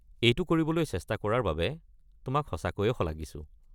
এইটো কৰিবলৈ চেষ্টা কৰাৰ বাবে তোমাক সঁচাকৈ শলাগিছো।